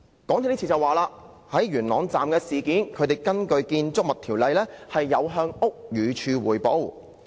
港鐵公司就元朗站事件表示，已根據《建築物條例》向屋宇署匯報。